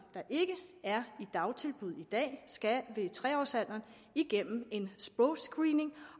ikke er i dagtilbud i dag ved tre års alderen igennem en sprogscreening